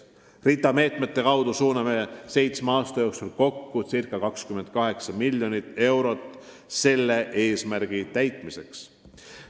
RITA meetme kaudu suuname seitsme aasta jooksul kokku ca 28 miljonit eurot selle eesmärgi täitmiseks.